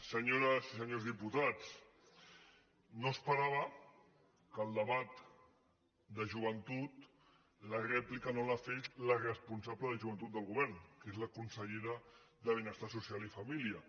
senyores i senyors diputats no esperava que al debat de joventut la rèplica no la fes la responsable de joventut del govern que és la consellera de benestar social i família